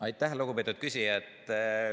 Aitäh, lugupeetud küsija!